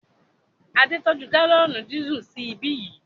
Adé tọ́jú gálọ̀nì dísù sí ibí yìí